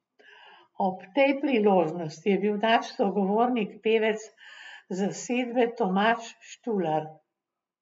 Ob tej priložnosti je bil naš sogovornik pevec zasedbe Tomaž Štular.